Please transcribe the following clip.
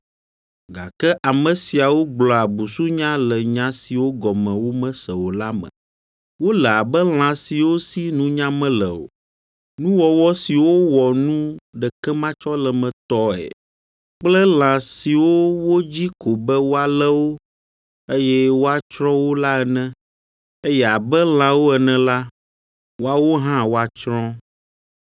Gake ame siawo gblɔa busunya le nya siwo gɔme womese o la me. Wole abe lã siwo si nunya mele o, nuwɔwɔ siwo wɔ nu ɖekematsɔlemetɔe kple lã siwo wodzi ko be woalé wo, eye woatsrɔ̃ wo la ene. Eye abe lãwo ene la, woawo hã woatsrɔ̃.